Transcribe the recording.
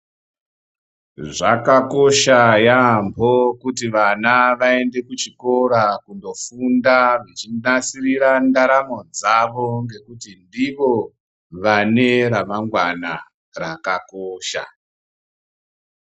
Zvakakosha yambo kuti vana vaende kuchikora kundofunda vachinasirira ndaramo dzavo nekuti ndivo vane ramangwana rakakosha.